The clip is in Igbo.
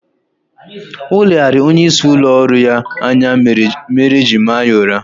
Oleghara onye isi ụlọ ọrụ ya anya mere oji maa ya ụra